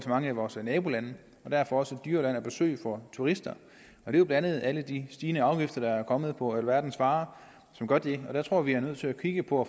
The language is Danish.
mange af vores nabolande og derfor også et dyrere land at besøge for turister det er jo blandt andet alle de stigende afgifter der er kommet på alverdens varer som gør det og der jeg tror at vi nødt til at kigge på